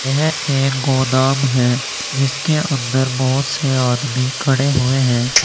यह एक गोदाम है जिसके अंदर बहुत से आदमी खड़े हुए हैं।